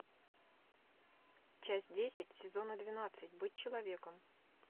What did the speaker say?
часть десять сезона двенадцать быть человеком